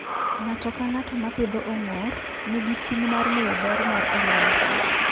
Ng'ato ka ng'ato ma pidho ong'or, nigi ting' mar ng'eyo ber mar ong'or.